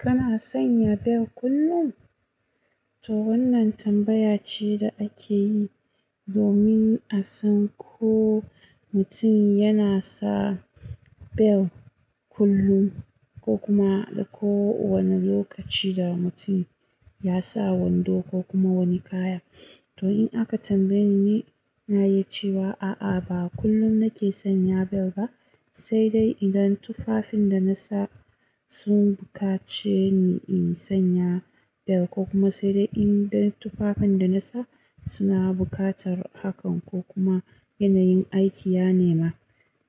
Kana sanya bel kullum? To wannan tambaya ce da ake yi domin a san ko mutum yana sa bel kullum ko kuma da kowane lokaci da mutum ya sa wando ko kuma wani kaya. To in aka tambaye ni, na yi cewa a'a ba kullum nake sanya bel ba, sai dai idan tufafin da na sa sun buƙace ni in sanya bel ko kuma sai dai idan tufafin da na sa suna buƙatar hakan ko kuma yanayin aiki ya nema.